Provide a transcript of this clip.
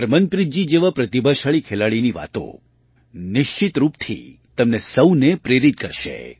હરમીનપ્રીતજી જેવાં પ્રતિભાશાળી ખેલાડીની વાતો નિશ્ચિત રૂપથી તમને સહુને પ્રેરિત કરશે